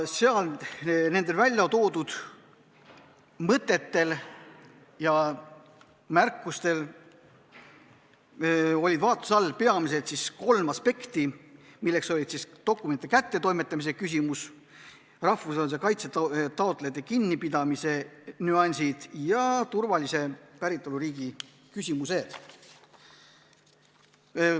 Need väljatoodud mõtted ja märkused puudutasid peamiselt kolme aspekti: dokumentide kättetoimetamine, rahvusvahelise kaitse taotlejate kinnipidamise nüansid ja turvalise päritoluriigi küsimused.